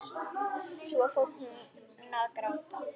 Svo fór hún að gráta.